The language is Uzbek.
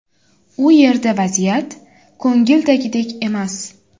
U yerda vaziyat ko‘ngildagidek emas.